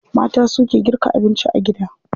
Mata suke girka abinci a gida.